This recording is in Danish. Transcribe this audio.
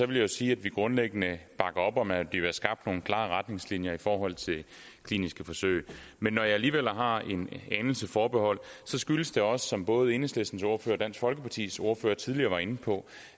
vil jeg sige at vi grundlæggende bakker op om at der bliver skabt nogle klare retningslinjer i forhold til kliniske forsøg men når jeg alligevel har en anelse forbehold skyldes det som både enhedslistens ordfører og dansk folkepartis ordfører tidligere var inde på